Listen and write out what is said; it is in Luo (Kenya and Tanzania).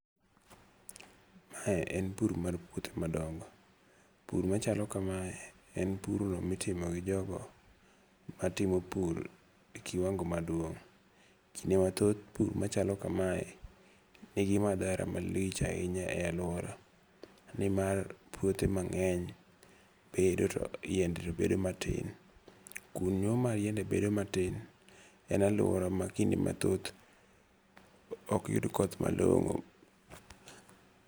Mae en pur mar puothe madongo. Pur machalo kamae en pur no mitimo gi jogo matimo pur e kiwango maduong'. Kinde mathoth pur machalo kamae ni gi madhara malich ahinya e aluora. Nimar puothe mang'eny bedo to yiende to bedo matin. Kuno ma yiende bedo matin en aluora ma kinde mathoth ok yud koth malong'o.